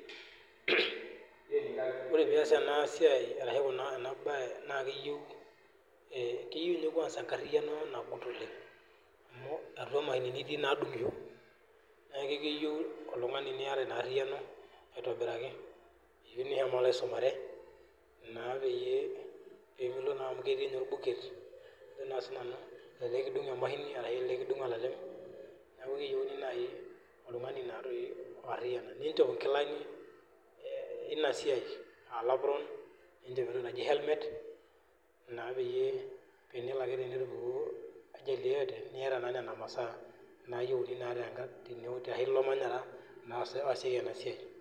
Ore piias ena siai ashu ena bae naa keyeu keyeu ninye kwanza enkariano naagut oleng' amuu atua imashinini itii naadung'isho neeku ekeyeu oltung'ani niata inaarriano aitobirraki eyeu nishomo aisumare naa peye peemilo naamu ketii ninye olbuet ajo naa sinanu tenekidung' emashini ashu tenekidung olalem neeku keyeuni nai oltung'ani naatoi otarriana niinchop inkilani, ina siai aa olapron niinchop entoki naji cs[ helmet]cs naa peye tenelo ake tenetupukuo naa cs[ajali]cs cs[yoyote]cs niata naa nena masaa nayeuni naa tena teilo manyara oosieki ina siai.